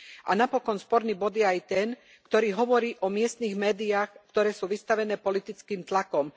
A napokon, sporný bod je aj ten, ktorý hovorí o miestnych médiách, ktoré sú vystavené politickým tlakom.